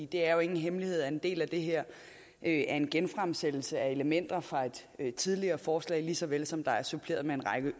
det er jo ingen hemmelighed at en del af det her er en genfremsættelse af elementer fra et tidligere forslag lige så vel som der er suppleret med en række